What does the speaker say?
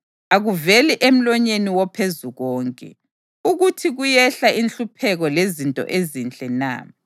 Akuveli emlonyeni woPhezukonke ukuthi kuyehla inhlupheko lezinto ezinhle na?